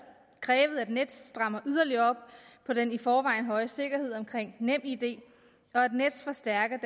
krævet at nets strammer yderligere op på den i forvejen høje sikkerhed omkring nemid og at nets forstærker